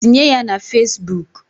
Tinye ya Fesbuk.